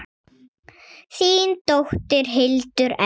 Þín dóttir, Hildur Edda.